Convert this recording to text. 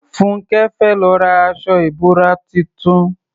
Fúnńkẹ́ fẹ́ lọ ra aṣọ ìbora tuntun